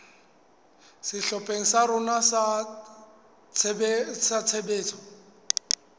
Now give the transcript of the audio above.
sehlopheng sa rona sa tshebetso